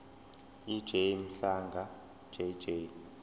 ej mhlanga jj